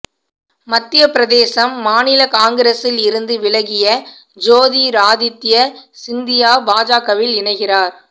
மத்திய பிரதேசம் மாநில காங்கிரசில் இருந்து விலகிய ஜோதிராதித்ய சிந்தியா பாஜகவில் இணைகிறார்